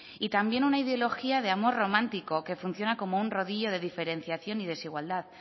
y también una ideología de amor romántico que funciona como un rodillo de diferenciación y desigualdad